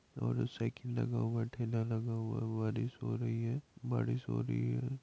औरों साइकिल लगा हुआ हैं ठेला लगा हुआ हैं बारिश हो रही है बारिश हो रही है।